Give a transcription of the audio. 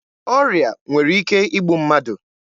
Ọrịa nwere ike igbu mmadụ.